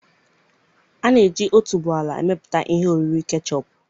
A na-eji otuboala emepụta ihe oriri kechọp.